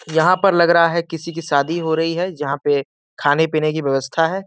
यहाँ पर लग रहा है किसी की शादी हो रही है जहाँ पे खाने पीने की व्यवस्था है।